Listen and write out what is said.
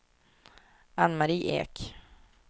Ann-Mari Ek